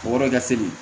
O yɔrɔ ka teli